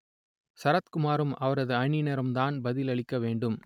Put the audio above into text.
சரத்குமாரும் அவரது அணியினரும்தான் பதிலளிக்க வேண்டும்